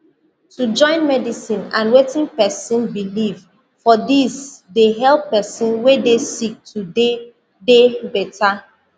to join medicine and wetin pesin believe for dis dey help pesin wey dey sick to dey dey better